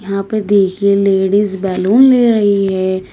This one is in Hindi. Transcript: यहां पे देखिए लेडीज बैलून ले रही है।